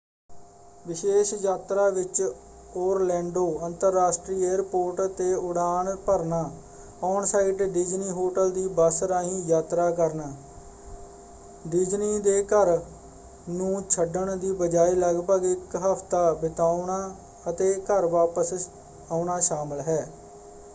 ਵਿਸ਼ੇਸ਼ ਯਾਤਰਾ ਵਿੱਚ ਓਰਲੈਂਡੋ ਅੰਤਰਰਾਸ਼ਟਰੀ ਏਅਰਪੋਰਟ 'ਤੇ ਉਡਾਣ ਭਰਨਾ ਔਨ-ਸਾਈਟ ਡਿਜ਼ਨੀ ਹੋਟਲ ਦੀ ਬੱਸ ਰਾਹੀਂ ਯਾਤਰਾ ਕਰਨਾ ਡਿਜ਼ਨੀ ਦੇ ਘਰ ਨੂੰ ਛੱਡਣ ਦੀ ਬਜਾਏ ਲਗਭਗ ਇੱਕ ਹਫ਼ਤਾ ਬਿਤਾਉਣਾ ਅਤੇ ਘਰ ਵਾਪਸ ਆਉਣਾ ਸ਼ਾਮਲ ਹੈ।